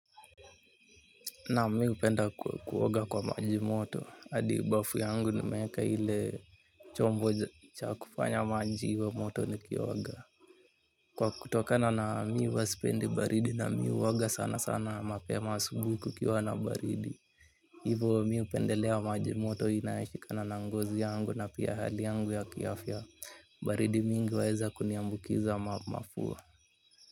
Naam mimi hupenda kuoga kwa maji moto hadi bafu yangu nimeeka ile chombo cha kufanya maji iwe moto nikioga. Kwa kutokana na mimi huwa sipendi baridi na mimi huoga sana sana mapema asubuhi kukiwa na baridi. Hivo mimi hupendelea maji moto inayoepukana na ngozi yangu na pia hali yangu ya kiafya baridi mingi huweza kuniambukiza mafua.